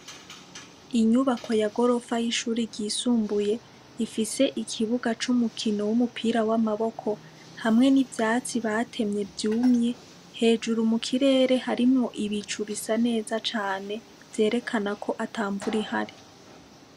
Inyubako ya gorofa y'ishure ryisumbuye ifise ikibuga c'umukino w'umupira w'amaboko, hamwe n'ivyatsi batemye vyumye, hejuru mu kirere hariho ibicu bisa neza cane vyerekana ko ata mvura ihari.